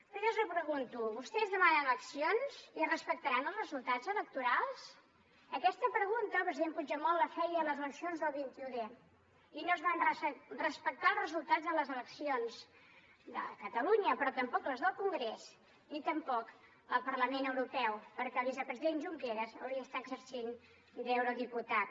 però jo els repregunto vostès demanen eleccions i respectaran els resultats electorals aquesta pregunta el president puigdemont la feia a les eleccions del vint un d i no es van respectar els resultats de les eleccions de catalunya però tampoc les del congrés ni tampoc del parlament europeu perquè el vicepresident junqueras hauria d’estar exercint d’eurodiputat